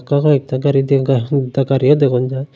একতা গাড়ি দ্যা গা দা গাড়িও দেখন যায়।